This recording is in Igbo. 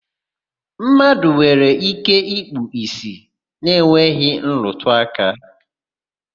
Mmadụ nwere ike ikpu ìsì na-enweghị nrụtụaka.